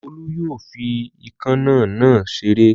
Olú yóò fi ikán náà náà ṣeré.